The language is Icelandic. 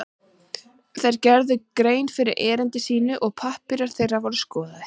Þeir gerðu grein fyrir erindi sínu og pappírar þeirra voru skoðaðir.